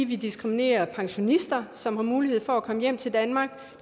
vi diskriminerer pensionister som har mulighed for at komme hjem til danmark